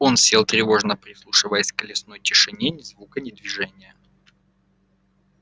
он сел тревожно прислушиваясь к лесной тишине ни звука ни движения